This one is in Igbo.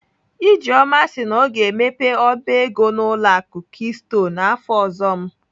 Ijeoma si na ọ ga-emepe ọba ego n'ụlọ akụ keystone afọ ọzọ m